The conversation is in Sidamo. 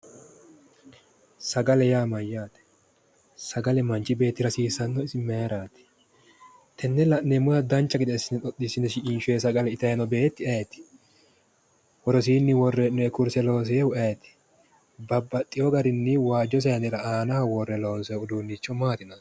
Sagale yaa mayyaate sagale manchi beettira hasiissannohu isi mayiraati tenne la'neemmota dancha gede assine xoxiisione shiqinshoyi sagale itayi noo beetti ayiiti worosiinni worroyi kurse loosinohu ayiiti babbaxino garinni waajjo saanera aanaho worre loonsoyi uduunnichi maati yinayi